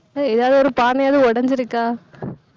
எதாவது, ஒரு பானையாவது உடைஞ்சிருக்கா